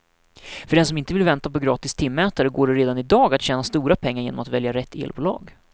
För den som inte vill vänta på gratis timmätare går det redan i dag att tjäna stora pengar genom att välja rätt elbolag.